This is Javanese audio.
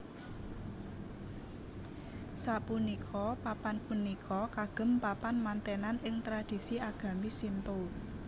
Sapunika papan punika kagem papan mantènan ing tradisi agami Shinto